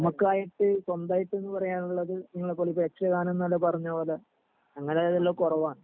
നമ്മക്കായിട്ട് സ്വന്തായിട്ട് ന്ന് പറയാനുള്ളത് ഇങ്ങളെ പോലെ യക്ഷ ഗാനം നെല്ലാം പറഞ്ഞ പോലെ അങ്ങനെ ഉള്ളതെല്ലാം കൊറവാണ്